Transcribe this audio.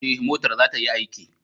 Ee, motar za ta yi aiki.